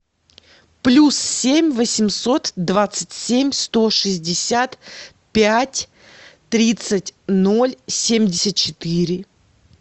плюс семь восемьсот двадцать семь сто шестьдесят пять тридцать ноль семьдесят четыре